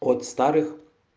от старых